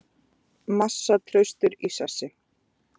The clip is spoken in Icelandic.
Massa traustur í sessi